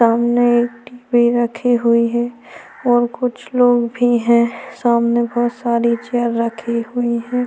सामने एक डिब्बे रखे हुए है और कुछ लोग भी है सामने बहुत सारे चेयर रखे हुए है।